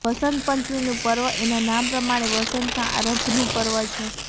વસંત પંચમીનું પર્વ એના નામ પ્રમાણે વસંતના આરંભનું પર્વ છે